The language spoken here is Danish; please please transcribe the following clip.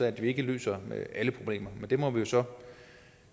at vi ikke løser alle problemer men det må vi jo så